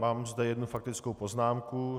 Mám zde jednu faktickou poznámku.